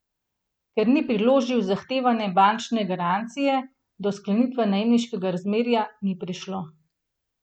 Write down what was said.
Ker ni priložil zahtevane bančne garancije, do sklenitve najemniškega razmerja ni prišlo.